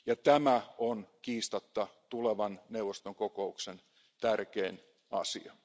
Tämä on kiistatta tulevan Eurooppa neuvoston kokouksen tärkein asia.